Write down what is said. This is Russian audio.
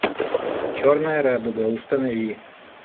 черная радуга установи